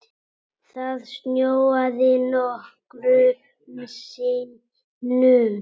Það snjóaði nokkrum sinnum.